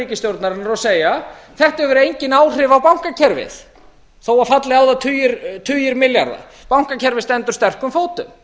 ríkisstjórnarinnar og segja þetta hefur engin áhrif á bankakerfið þó falli á þá tugir milljarða bankakerfið stendur sterkum fótum